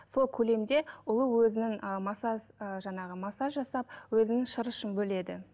сол көлемде ұлу өзінің жаңағы массаж жасап өзінің шырышын бөледі